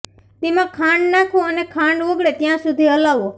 તેમા ખાંડ નાખો અને ખાંડ ઓગળે ત્યાં સુધી હલાવો